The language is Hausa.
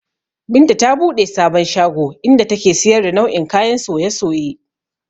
Binta ta buɗe sabon shago, inda take siyar da nau'o'in kayan soye-soye